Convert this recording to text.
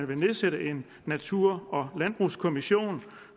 vil nedsætte en natur og landbrugskommission